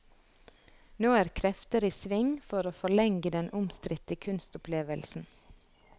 Nå er krefter i sving for å forlenge den omstridte kunstopplevelsen.